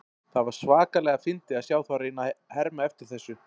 Það var svakalega fyndið að sjá þá reyna að hema eftir þessu.